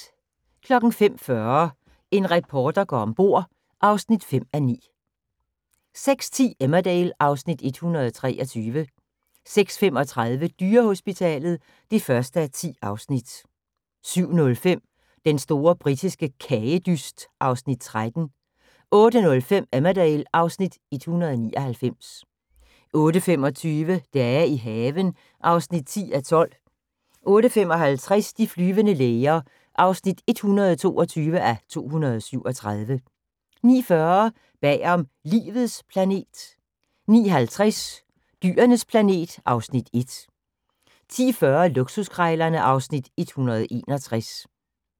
05:40: En reporter går om bord (5:9) 06:10: Emmerdale (Afs. 123) 06:35: Dyrehospitalet (1:10) 07:05: Den store britiske kagedyst (Afs. 13) 08:05: Emmerdale (Afs. 199) 08:25: Dage i haven (10:12) 08:55: De flyvende læger (122:237) 09:40: Bag om Livets planet 09:50: Dyrenes planet (Afs. 1) 10:40: Luksuskrejlerne (Afs. 161)